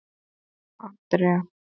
Andrea